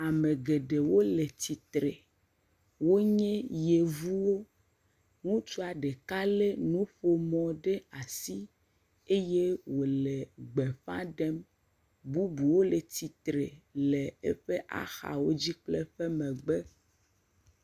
Ame geɖewo le tsitre. Wonye yevuwo, ŋutsua ɖeka lé nuƒomɔ ɖe asi eye wòle gbeƒa ɖem, bubuwo le tsitre le eƒe axawo dzi kple eƒe megbe.